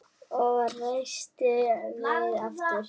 Og reistir við aftur.